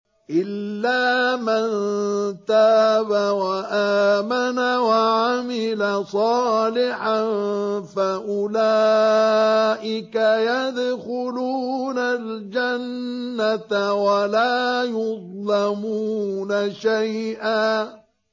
إِلَّا مَن تَابَ وَآمَنَ وَعَمِلَ صَالِحًا فَأُولَٰئِكَ يَدْخُلُونَ الْجَنَّةَ وَلَا يُظْلَمُونَ شَيْئًا